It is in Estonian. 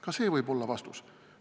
Ka see võib olla vastus.